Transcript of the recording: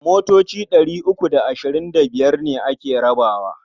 Motoci ɗari uku da ashirin da biyar ne ake rabawa.